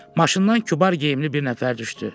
Maşından kübar geyimli bir nəfər düşdü.